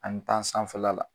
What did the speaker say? An mi taa sanfɛla la